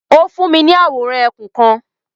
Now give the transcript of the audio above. O fún mi ni awóran ẹkún kan